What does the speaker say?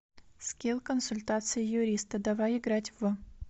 скилл консультация юриста давай играть в